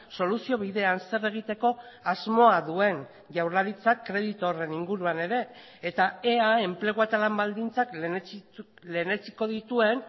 soluzio bidean zer egiteko asmoa duen jaurlaritzak kreditu horren inguruan ere eta ea enplegua eta lan baldintzak lehenetsiko dituen